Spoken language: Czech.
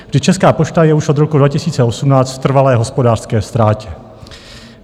Vždyť Česká pošta je už od roku 2018 v trvalé hospodářské ztrátě.